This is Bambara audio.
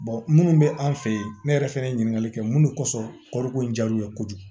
minnu bɛ an fɛ yen ne yɛrɛ fɛnɛ ye ɲininkali kɛ mun de kosɔn kɔriko in jar'u ye kojugu